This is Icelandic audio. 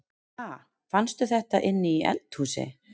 Ha! Fannstu þetta inni í eldhúsi?